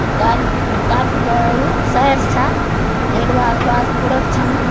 अ का-काफी बडू सहर छ। येक वार पार कुड़ा भी छन।